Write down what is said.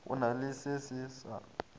go na le se sa